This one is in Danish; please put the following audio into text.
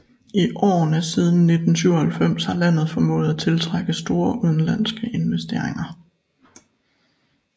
I årene siden 1997 har landet formået at tiltrække store udenlandske investeringer